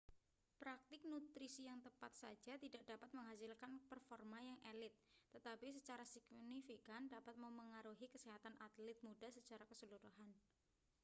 praktik nutrisi yang tepat saja tidak dapat menghasilkan performa yang elite tetapi secara signifikan dapat memengaruhi kesehatan atlet muda secara keseluruhan